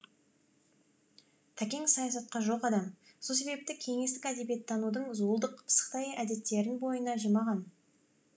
тәкең саясатқа жоқ адам сол себепті кеңестік әдебиеттанудың зуылдақ пысықай әдеттерін бойына жимаған